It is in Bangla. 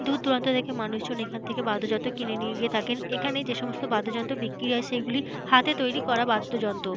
দূর দূরান্ত থেকে মানুষজন এখন থেকে বাদ্যযন্ত্র কিনে নিয়ে গিয়ে থাকেন। এখানে যে সমস্ত বাদ্যযন্ত্র বিক্রি হয় সেগুলি হাতে তৈরি করা বাদ্যযন্ত্র।